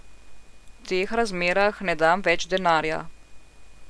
V teh razmerah ne dam več denarja.